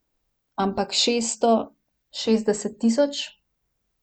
Ampak šeststo šestdeset tisoč?